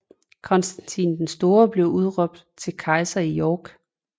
Konstantin den Store bliver udråbt til kejser i York